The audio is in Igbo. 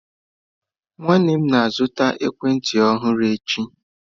Nwanne m na-azụta ekwentị ọhụrụ echi.